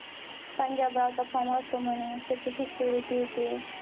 पंजाबरावचा form असतो म्हणे. त्याची शिष्यवृत्ती ते.